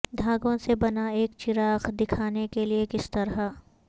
دھاگوں سے بنا ایک چراغ دکھانے کے لئے کس طرح